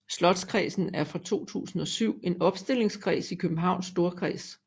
Slotskredsen er fra 2007 en opstillingskreds i Københavns Storkreds